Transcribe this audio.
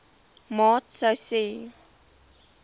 maat sou hê